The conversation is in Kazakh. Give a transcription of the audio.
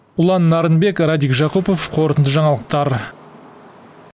ұлан нарынбек радик жакупов қорытынды жаңалықтар